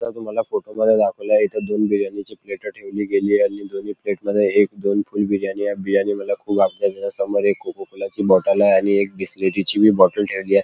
या फोटोमध्ये तुम्हाला दाखवल आहे की दोन बिर्याणीची प्लेट ठेवली गेली आणि दोन्ही प्लेट मध्ये एक दोन फूल बिर्याणी हाल्फ बिर्याणी मला खूप त्याच्या समोर एक कोकोकॉला ची बॉटलय आणि एक बिसलरीची पण बॉटल ठेवली आहे.